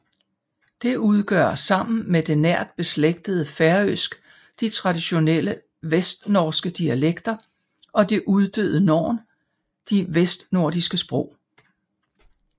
Det udgør sammen med det nært beslægtede færøsk de traditionelle vestnorske dialekter og det uddøde norn de vestnordiske sprog